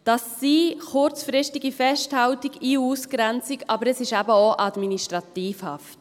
Das sind kurzfristige Festhaltungen, Ein- und Ausgrenzung, aber es ist eben auch Administrativhaft.